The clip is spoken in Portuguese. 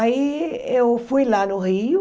Aí eu fui lá no Rio,